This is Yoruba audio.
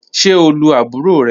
Ṣe o lu aburo rẹ?